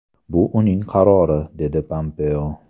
Bu uning qarori”, dedi Pompeo.